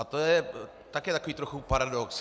A to je taky tak trochu paradox.